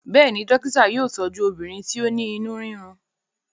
béèni dókítà yóò tọju obìnrin ti o ní inú rirun.